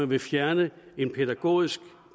vil fjerne et pædagogisk